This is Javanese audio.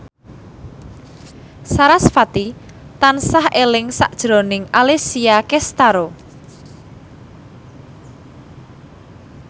sarasvati tansah eling sakjroning Alessia Cestaro